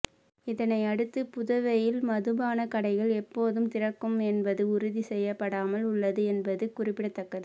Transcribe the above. இதனை அடுத்து புதுவையில் மதுபான கடைகள் எப்போதும் திறக்கும் என்பது உறுதி செய்யப்படாமல் உள்ளது என்பது குறிப்பிடத்தக்கது